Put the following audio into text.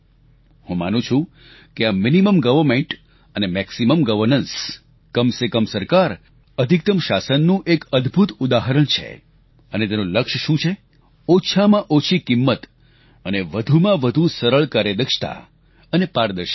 હું માનું છું કે આ મીનિમમ ગવર્મેન્ટ અને મેક્સીમમ ગવર્નન્સ કમ સે કમ સરકાર અધિકતમ શાસન નું એક અદભુત ઉદાહરણ છે અને તેનું લક્ષ્ય શું છે ઓછામાં ઓછી કિંમત અને વધુમાં વધુ સરળ કાર્યદક્ષતા અને પારદર્શિતા